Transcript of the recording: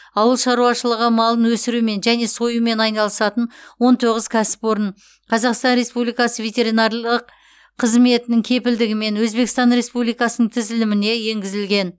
ауыл шаруашылығы малын өсірумен және союмен айналысатын он тоғыз кәсіпорын қазақстан республикасы ветеринарлық қызметінің кепілдігімен өзбекстан республикасының тізіліміне енгізілген